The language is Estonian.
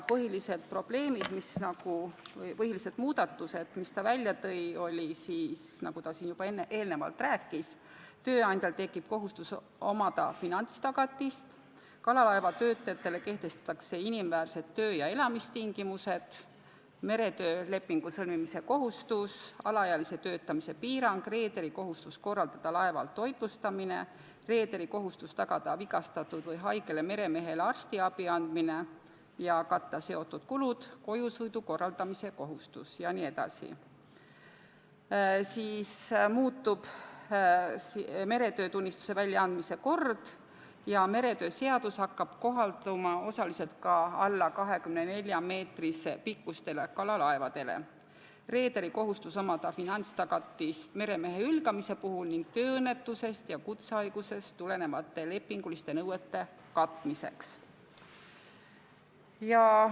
Põhilised probleemid või muudatused, mis ta välja tõi, olid need, millest ta siin juba eelnevalt rääkis: tööandjal tekib kohustus omada finantstagatist, kalalaevatöötajatele kehtestatakse inimväärsed töö- ja elamistingimused, tekib meretöölepingu sõlmimise kohustus, kehtestatakse alaealise töötamise piirang, reederil on kohustus korraldada laeval toitlustamine ning tagada vigastatud või haigele meremehele arstiabi andmine ja katta sellega seotud kulud, tekib kojusõidu korraldamise kohustus, muutub meretöötunnistuse väljaandmise kord ja meretöö seadus hakkab kohalduma osaliselt ka alla 24 meetri pikkustele kalalaevadele, reederil on kohustus omada finantstagatist meremehe hülgamisest ning tööõnnetusest ja kutsehaigusest tulenevate lepinguliste nõuete katmiseks.